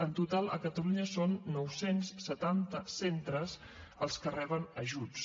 en total a catalunya són nou cents i setanta centres els que reben ajuts